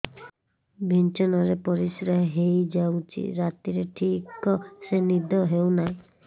ବିଛଣା ରେ ପରିଶ୍ରା ହେଇ ଯାଉଛି ରାତିରେ ଠିକ ସେ ନିଦ ହେଉନାହିଁ